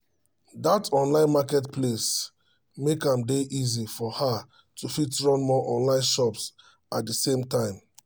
that online market place make am dey easy for her to fit run more online shops at the same time